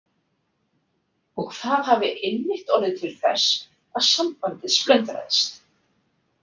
Og það hafi einmitt orðið til þess að sambandið splundraðist?